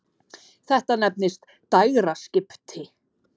Þetta nefnist dægraskipti.